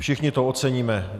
Všichni to oceníme.